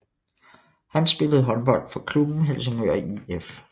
Han spillede håndbold for klubben Helsingør IF